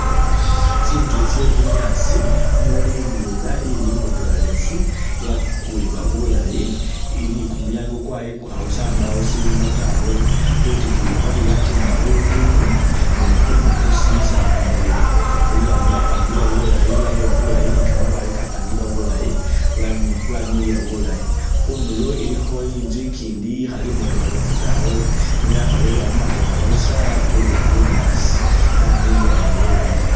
Tsinzu tsye bunyaasi umuli ndwela imbotokhelefu, yakulibwa bulayi, ili ni kumulyango kwayikukha busa mbawo silimo tawe, khwitikiyi khwalyo yatimba kho bibindu ni kukundu kusimisa kumuliro. Khulwanyi lwapangibwa bulayi lwa yabibwa bulayi ni kamabaale kapangibwa bulayi lwami' lwamiliya bulayi. Khundulo ilikho inzu ikindi ikhali imbotokhelefu tawe ne yakholebwa mu mateka busa yakulibwa bunyaasi yamiliya nayo bulayi.